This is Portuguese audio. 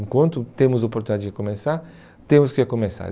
Enquanto temos oportunidade de recomeçar, temos que recomeçar.